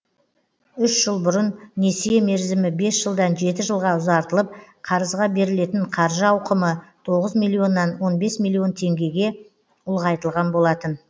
үш жыл бұрын несие мерзімі бес жылдан жеті жылға ұзартылып қарызға берілетін қаржы ауқымы тоғыз миллионнан он бес миллион теңгеге ұлғайтылған болатын